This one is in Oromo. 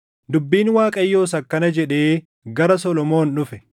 Dubbiin Waaqayyoos akkana jedhee gara Solomoon dhufe: